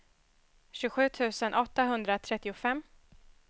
tjugosju tusen åttahundratrettiofem